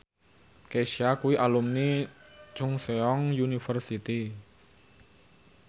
Kesha kuwi alumni Chungceong University